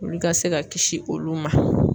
Olu ka se ka kisi olu ma.